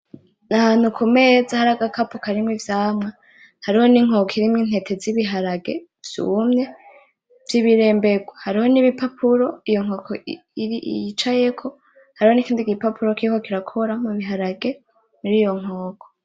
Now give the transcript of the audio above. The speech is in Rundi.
Nahantu kumeza hari agakapo karimwo ivyamwa, hariho n'inkoko irimwo intete zibiharage vyumye vyibiremberwa, hariho nibipapuro iyo nkoko yicayeko hariho nikindi gipapuro kiriko kirakora mubiharage muriyo nkoko.